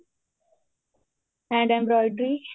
hand embroidery